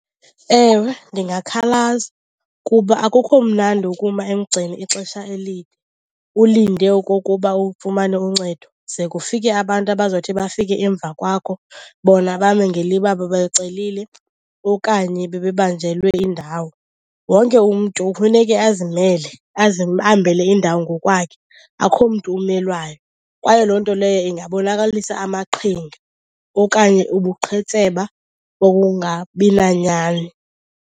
Ewe, ndingakhalaza kuba akukho mnandi ukuma emgceni ixesha elide ulinde okokuba ufumane uncedo ze kufike abantu abazawuthi bafike emva kwakho bona bame ngeliba babacelile okanye bebebanjelwe indawo. Wonke umntu kufuneke azimele, azibambele indawo ngokwakhe, akho mntu umelwayo. Kwaye loo nto leyo ingabonakalisa amaqhinga okanye ubuqhetseba bobungabi nanyani.